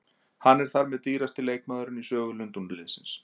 Hann er þar með dýrasti leikmaðurinn í sögu Lundúnarliðsins.